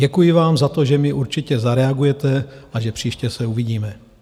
Děkuji vám za to, že mi určitě zareagujete a že příště se uvidíme.